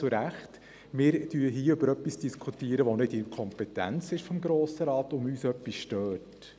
Wir diskutieren über etwas, was nicht in der Kompetenz des Grossen Rates liegt.